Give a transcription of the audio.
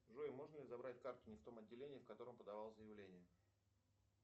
джой можно ли забрать карту не в том отделении в котором подавал заявление